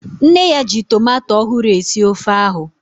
Nne ya ji tomato ọhụrụ esi ofe ahu